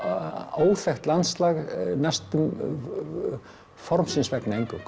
óþekkt landslag næstum formsins vegna eingöngu